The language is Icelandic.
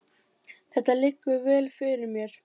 Þetta liggur vel fyrir mér.